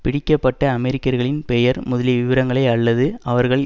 பிடிக்க பட்ட அமெரிக்கர்களின் பெயர் முதலிய விபரங்களை அல்லது அவர்கள்